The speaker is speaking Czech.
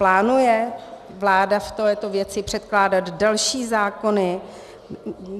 Plánuje vláda v této věci předkládat další zákony?